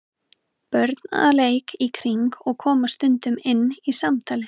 Börn að leik í kring og koma stundum inn í samtalið.